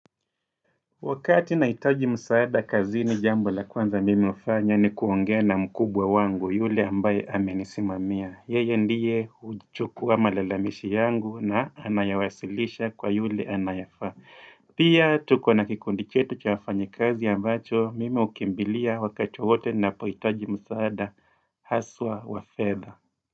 Wakati nahitaji msaada kazini jambo la kwanza mimi hufanya ni kuongea na mkubwa wangu yule ambaye amenisimamia. Yeye ndiye huchukuwa malalamishi yangu na anayawasilisha kwa yule anayefaa. Pia tuko na kikundi chetu cha wafanyi kazi ambacho mimi hukimbilia wakati wowote ninapohitaji msaada haswa wa fedha.